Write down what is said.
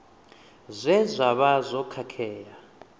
zwe zwa vha zwo khakhea